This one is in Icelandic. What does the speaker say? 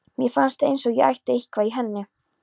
Mér fannst eins og ég ætti eitthvað í henni.